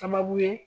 Sababu ye